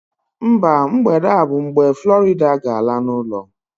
Mba, mgbede a bụ mgbe Florida ga-ala n'ụlọ